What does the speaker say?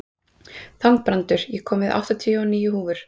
Þangbrandur, ég kom með áttatíu og níu húfur!